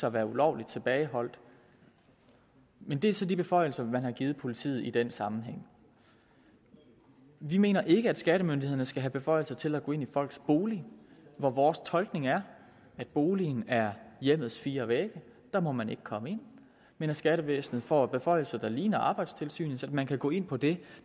at være ulovligt tilbageholdt men det er så de beføjelser man har givet politiet i den sammenhæng vi mener ikke at skattemyndighederne skal have beføjelser til at gå ind i folks bolig for vores tolkning er at boligen er hjemmets fire vægge og der må man ikke komme ind skattevæsenet får beføjelser der ligner arbejdstilsynets man kan gå ind på det